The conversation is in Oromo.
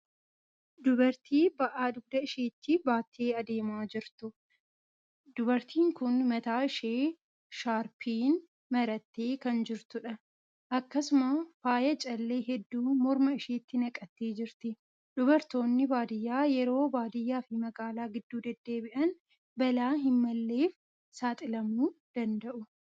Dubartii ba'aa dugda isheetti baattee adeemaa jirtu. Dubartiin kun mataa ishee shaarbiin marattee kan jirtudha. Akkasuma faaya callee hedduu morma isheetti naqattee jirti. Dubartoonni baadiyaa yeroo baadiyaa fi magaala gidduu deddeebi'an balaa hin malleef saaxilamuu danda'u.